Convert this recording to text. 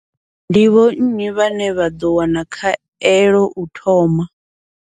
Ndi vho nnyi vhane vha ḓo wana khaelo u thoma.